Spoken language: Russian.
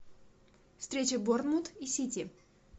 встреча борнмут и сити